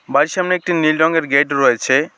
বাড়ির সামনে একটি নীল রঙের গেট রয়েছে।